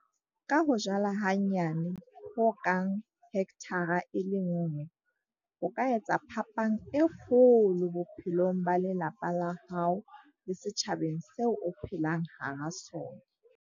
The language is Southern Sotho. Ka ho jala hanyane ho kang hekthara e le nngwe, o ka etsa phapang e kgolo bophelong ba lelapa la hao le setjhabaneng seo o phelang hara sona.